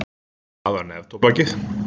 Það var neftóbakið.